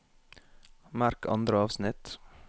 Merk andre avsnitt